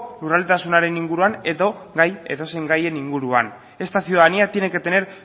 lurraldetasunaren inguruan edo edozein gaien inguruan esta ciudadanía tiene que tener